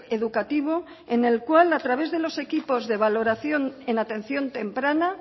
educativo en el cual a través de los equipos de valoración en atención temprana